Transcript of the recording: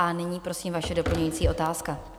A nyní prosím vaše doplňující otázka.